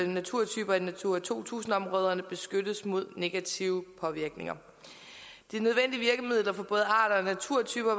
naturtyper i natura to tusind områderne beskyttes mod negative påvirkninger de nødvendige virkemidler for både arter og naturtyper